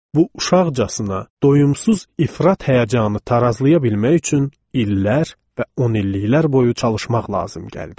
Bu uşaqcasına, doyumsuz ifrat həyəcanı tarazlaya bilmək üçün illər və onilliklər boyu çalışmaq lazım gəldi.